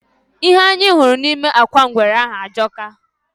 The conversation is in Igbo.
Ihe anyị hụrụ nime akwa ngwere ahụ ajọka.